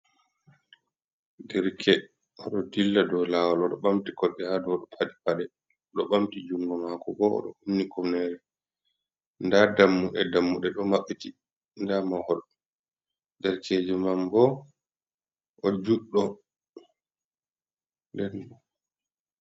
Derke: Odo dilla dou lawol odo bamti kosde hadou padi pade. Odo bamti jungo mako bo, odo khumni kufnere. Nda dammude-dammude do mabbiti, nda mahol. Derkejo man bo, o juddo. Nden...